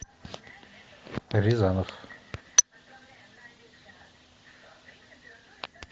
рязанов